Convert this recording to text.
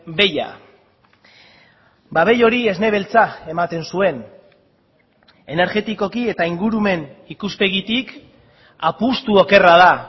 behia ba behi hori esne beltza ematen zuen energetikoki eta ingurumen ikuspegitik apustu okerra da